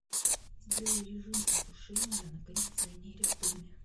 сделай режим осушения на кондиционере в доме